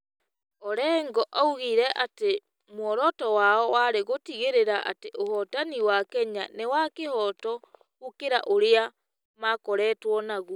Orengo oigire atĩ muoroto wao warĩ gũtigĩrĩra atĩ ũhotani wa Kenya nĩ wa kĩhooto gũkĩra ũrĩa makoretwo naguo.